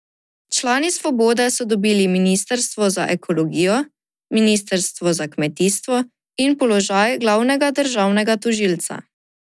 Člani Svobode so dobili ministrstvo za ekologijo, ministrstvo za kmetijstvo in položaj glavnega državnega tožilca.